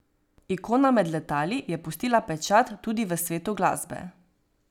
Ikona med letali je pustila pečat tudi v svetu glasbe.